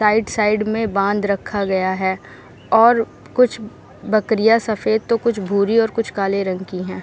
Side side में बांध रखा गया है और कूछ बकरियाँ सफ़ेद तो कूछ भूरी और कूछ काले रंग की है।